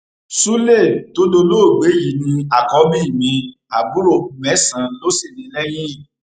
sulé tó dolóògbé yìí ni àkọbí mi àbúrò mẹsànán ló sì ní lẹyìn